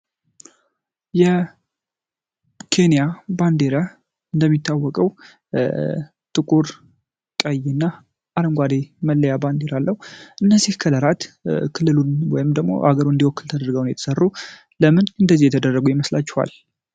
የኬንያ ባንዲራ እንደሚታወቀው ጥቁር፣ ቀይና አረንጓዴ መለያ ባንዲራ አለው። እነዚህ ከለራት ክልሉን ወይም ደግሞ አገሩን እንዲወክል ተደርገው ነው የተሠሩ። ለምን እንደደዚህ ተደረጉ ይመስላችኋል?